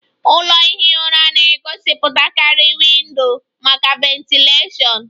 Ụlọ ihi ụra na-egosipụtakarị windo maka ventilashion